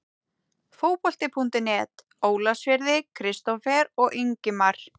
Fótbolti.net Ólafsfirði- Kristófer og Ingimar